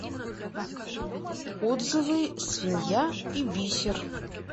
отзывы свинья и бисер